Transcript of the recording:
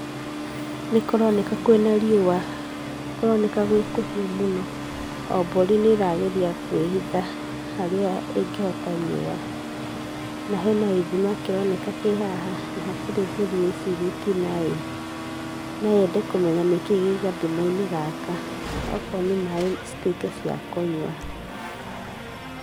Nĩ kũroneka gwĩ kũhiũ mũno. O mbũri nĩ ĩrageria kwĩhitha harĩa ĩngĩhota riũa. Na hena gĩthima kĩroneka kĩ haha na gũtirĩ mbũri ĩcirĩtie no yende kũmenya nĩ kĩĩ gĩ gathima-inĩ gaka. Okorwo nĩ maaĩ cituĩke cia kũnyua.